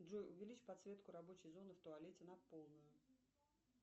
джой увеличь подсветку рабочей зоны в туалете на полную